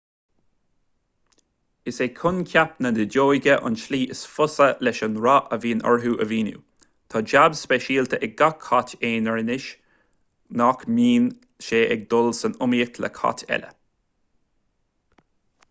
is é coincheap na nideoige an tslí is fusa leis an rath a bhíonn orthu a mhíniú tá jab speisialta ag gach cat aonair ionas nach mbíonn sé ag dul san iomaíocht le cait eile